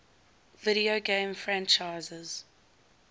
video game franchises